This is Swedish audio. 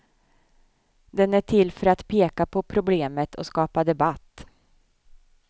Den är till för att peka på problemet och skapa debatt.